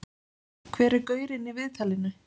Hver er gaurinn í viðtalinu?